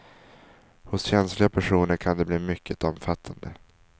Hos känsliga personer kan de bli mycket omfattande.